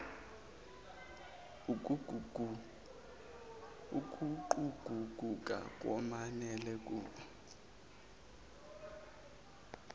ukuguquguka ngokwanele ukuvumela